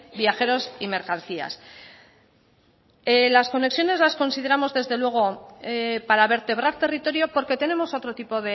viajeros y mercancías las conexiones las consideramos desde luego para vertebrar territorio porque tenemos otro tipo